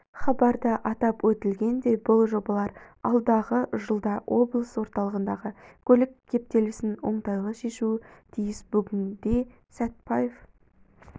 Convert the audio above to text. хабарда атап өтілгендей бұл жобалар алдағы жылда облыс орталығындағы көлік кептелесін оңтайлы шешуі тиіс бүгінде сәтпаев